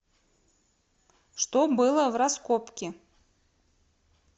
что было в раскопки